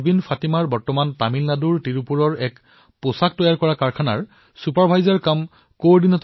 পাৰহীন ফাতিমা তামিলনাডুৰ তিৰুপুৰৰ এক বস্ত্ৰ উৎপাদন কাৰখানাত প্ৰমোচনৰ পিছত ছুপাৰভাইজাৰ তথা সমন্বয়ৰক্ষক হিচাপে নিয়োজিত হৈছে